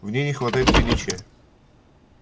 в ней не хватает величия